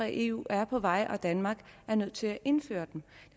i eu er på vej og danmark er nødt til at indføre dem